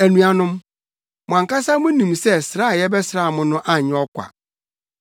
Anuanom, mo ankasa munim sɛ sra a yɛbɛsraa mo no anyɛ ɔkwa.